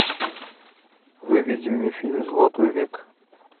выведи мне фильм золотой век